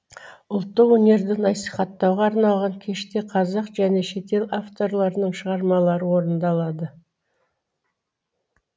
ұлттық өнерді насихаттауға арналған кеште қазақ және шетел авторларының шығармалары орындалды